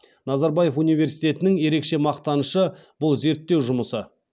назарбаев университетінің ерекше мақтанышы бұл зерттеу жұмысы